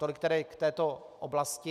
Tolik tedy k této oblasti.